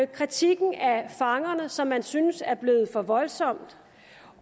kritikken af fangerne som man synes er blevet for voldsom